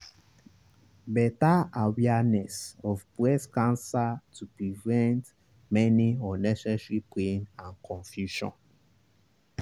better awareness of breast cancer to prevent many unnecessary pain and confusion.